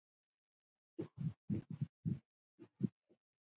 Það markaði hann alla tíð.